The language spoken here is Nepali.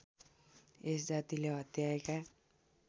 यस जातिले हत्याएका